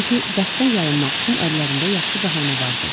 Çünki dərsdən yayınmaq üçün əllərində yaxşı bəhanə vardı.